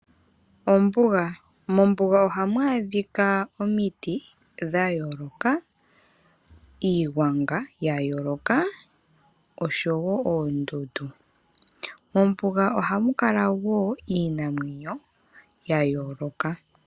Ombuga, mombuga oha mu adhika omiti dha yooloka , iigwanga ya yooloka, osho wo oondundu. Mombuga oha mu kala wo iinamwenyo ya yooloka.